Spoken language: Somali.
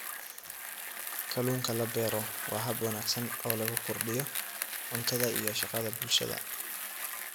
Kalluunka la beero waa hab wanaagsan oo lagu kordhiyo cuntada iyo shaqada bulshada.